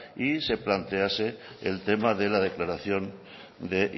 y se plantease el tema de la declaración de